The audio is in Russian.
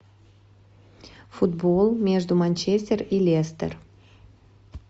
футбол между манчестер и лестер